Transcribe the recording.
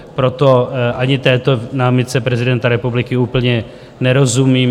Proto ani této námitce prezidenta republiky úplně nerozumím.